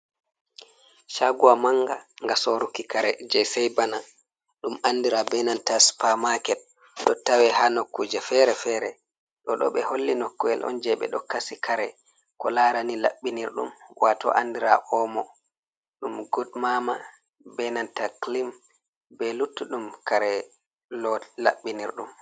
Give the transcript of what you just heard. cagowa manga nga soruki kare je sai bana dum andira benanta spar market do tawe ha nokkuje fere-fere do dobe holli nokku’el on je be do kasi kare ko larani labbinirdum wato andira omo dum gud mama benanta clym be luttudum kare lo labbinirdum.